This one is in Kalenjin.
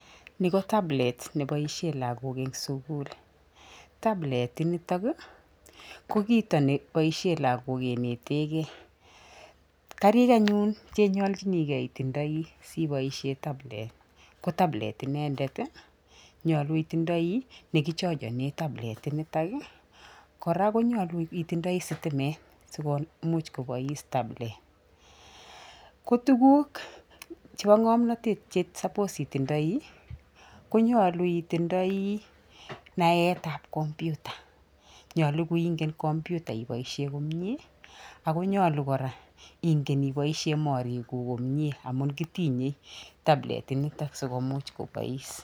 Ni ko tablet neboisie lagok eng sukul, tablet initok ii ko kito neboisie lagok kenetekei, karik anyun che nyoljinikei itindoi si iboisie tablet ii ko tablet inendet ii, nyolu itindoi ne kichochone tablet initok ii, kora ko nyalu itindoi sitimet si komuch kobois tablet. Ko tuguk che bo ngomnotet che suppose itindoi, ko nyolu itindoi naetab computer nyolu ko ingen computer iboisie komie ako nyolu kora ingen iboisie morikuk komie amun kitinye tablet inito sikomuch kobois.